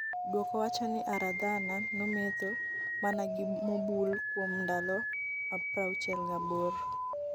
duoko wacho ni Aradhana nomedho mana pi mobul kuom ndalo 68.